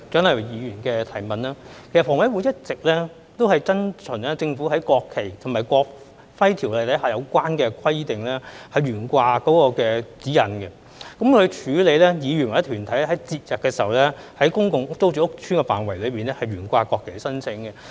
其實，房委會一直遵循政府在《國旗及國徽條例》下有關懸掛國旗的規則和指引，處理議員或團體於節日在公共租住屋邨的範圍內懸掛國旗的申請。